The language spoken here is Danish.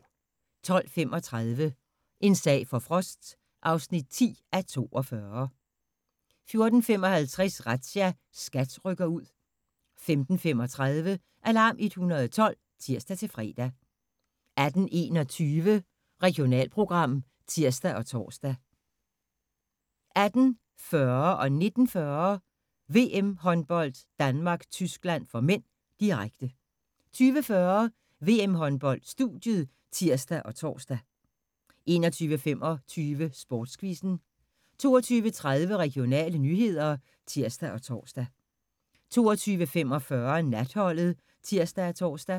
12:35: En sag for Frost (10:42) 14:55: Razzia – SKAT rykker ud 15:35: Alarm 112 (tir-fre) 18:21: Regionalprogram (tir og tor) 18:40: VM-håndbold: Danmark-Tyskland (m), direkte 19:40: VM-håndbold: Danmark-Tyskland (m), direkte 20:40: VM-håndbold: Studiet (tir og tor) 21:25: Sportsquizzen 22:30: Regionale nyheder (tir og tor) 22:45: Natholdet (tir og tor)